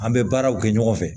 An bɛ baaraw kɛ ɲɔgɔn fɛ